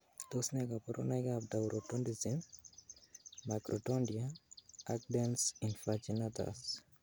Tos nee koborunoikab Taurodontism, microdontia, ak dens invaginatus?